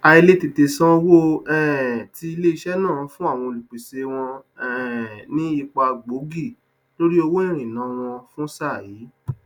àìlètètè sàn owó um ti iléisẹ náà fún àwọn olùpèsè wọn um ní ipa gbóògì lórí owó ìríná wọn fún sáà yi